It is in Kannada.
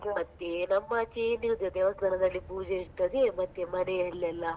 ಮತ್ತೆ ನಮ್ಮ ಆಚೆ ದೇವಸ್ಥಾನದಲ್ಲಿ ಪೂಜೆ ಇರ್ತದೆ ಮತ್ತೆ ಮನೆಯಲ್ಲ್ಲೆಲ್ಲ.